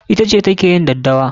Ita ce ta ke yin daddawa.